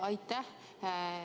Aitäh!